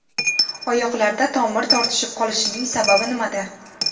Oyoqlarda tomir tortishib qolishining sababi nimada?